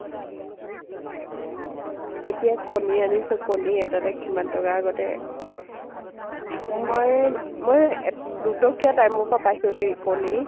এতিয়া কণী আনিছো । কণী এতা এতা কিমান টকা, আগতে , মই মই এ দুটকীয়া time ৰ পৰা পাইছো দেই, কণী ।